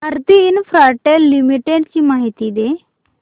Bharti Infratel Limited ची माहिती दे